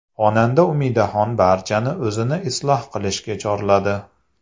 Xonanda Umidaxon barchani o‘zini isloh qilishga chorladi.